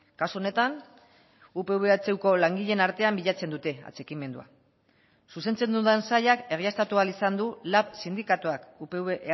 kasu honetan upv ehuko langileen artean bilatzen dute atxikimendua zuzentzen dudan sailak egiaztatu ahal izan du lab sindikatuak upv